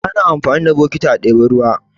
Ana amfani da bokiti a ɗebi ruwa.